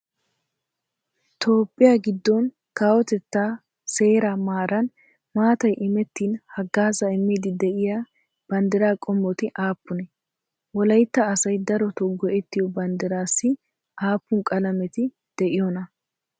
Toophphiya giddon kawotettaa seeraa maaran maatay imettin haggaazaa immiiddi de'iya banddiraa qoomoti aappunee? Wolaytta asay darotoo go"ettiyo banddiraassi aappun qalameti de'iyonaa?